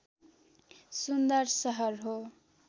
सुन्दर सहर हो